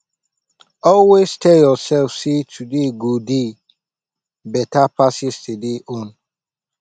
always tel urself sey today go dey beta pass yestaday own